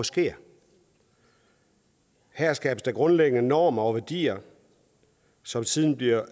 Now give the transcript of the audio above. sker her skabes der grundlæggende normer og værdier som siden bliver